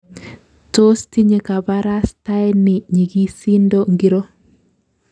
Tos tinye kabarastaeni nyigisindo ngiro?